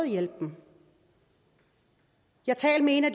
hjælpen jeg talte med en af